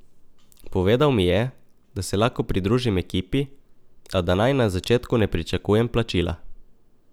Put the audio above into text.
Povedal mi je, da se lahko pridružim ekipi, a da naj na začetku ne pričakujem plačila.